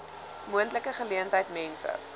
moontlike geleentheid mense